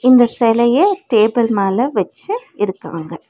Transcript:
இந்த செலைய டேபிள் மேல வெச்சு இருக்காங்க.